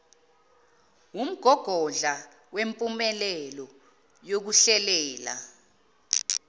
wumgogodla wempumelelo yokuhlelela